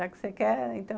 Já que você quer, então...